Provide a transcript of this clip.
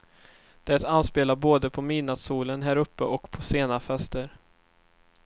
Det anspelar både på midnattsolen här uppe och på sena fester.